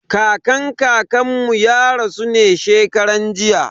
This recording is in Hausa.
Kakan kakan mu ya rasu ne shekaran jiya.